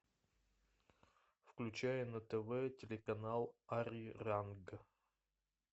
включай на тв телеканал ари ранг